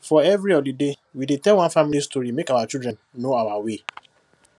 for every holiday we dey tell one family story make our children know our way